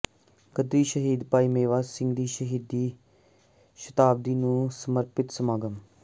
ਗ਼ਦਰੀ ਸ਼ਹੀਦ ਭਾਈ ਮੇਵਾ ਸਿੰਘ ਦੀ ਸ਼ਹੀਦੀ ਸ਼ਤਾਬਦੀ ਨੂੰ ਸਮਰਪਿਤ ਸਮਾਗਮ